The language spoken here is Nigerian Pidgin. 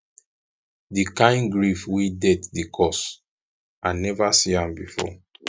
di kain grief wey death dey cause i neva see am before